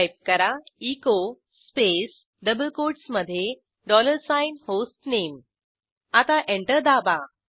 type करा echo space double कोटसमधे dollar sign hostname आता एंटर दाबा